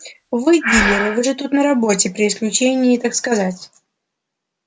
вы дилеры вы же тут на работе при исключении так сказать